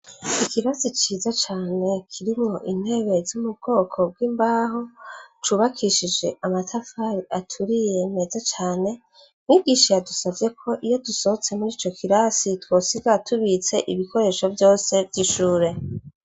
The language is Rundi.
Ikirasi ciza cane kirimwo intebe zomubwoko bwimbaho cubakishijwe amatafari aturiye meza cane ,mwigisha yadusavye ko iyo dusohotse muri co kirasi twosiga ibikoresho vyose vyishure.